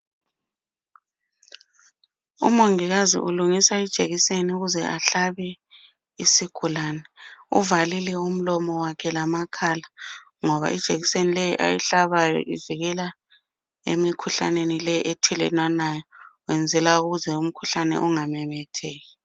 Umongikazi ulungisa ijekiseni ukuze ahlabe isigulani, uvalile umlomo wakhe lamakhala ngoba ijekiseni leyi ayihlabayo ivikela emikhuhlaneni leyi ethelelwanayo,,uyenzela ukuthi umkhuhlane ungamemetheki.